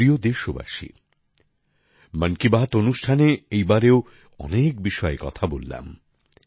আমার প্রিয় দেশবাসী মন কি বাত অনুষ্ঠানে এইবারেও অনেক বিষয়ে কথা বললাম